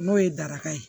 N'o ye daraka ye